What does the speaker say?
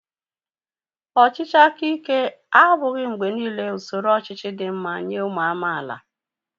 Ọchịchị aka ike abụghị mgbe niile usoro ọchịchị dị mma nye ụmụ amaala